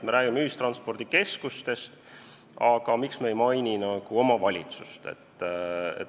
Me räägime ühistranspordikeskustest, aga miks me ei maini omavalitsust?